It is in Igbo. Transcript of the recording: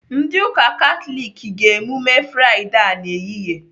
Ndị ụka Katọlik ga-emume Fraịdee a n'ehihie